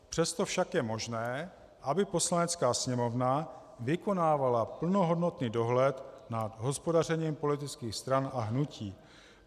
Přesto však je možné, aby Poslanecká sněmovna vykonávala plnohodnotný dohled nad hospodařením politických stran a hnutí.